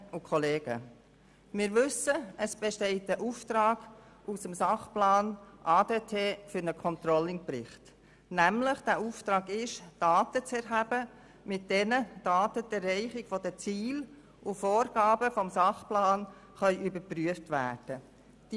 Aus dem Sachplan ADT besteht ein Auftrag für einen Controlling-Bericht, für den Daten zu erheben sind, mit denen die Erreichung der Ziele und Vorgaben des Sachplans überprüft werden können.